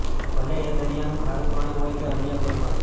ભલે એ દરિયાનું ખારૂ પાણી હોય કે અન્ય કોઇ પાણી